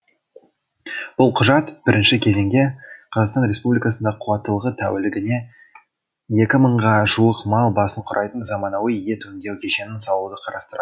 бұл құжат бірінші кезеңде қр да қуаттылығы тәулігіне екі мыңға жуық мал басын құрайтын заманауи ет өңдеу кешенін салуды қарастырады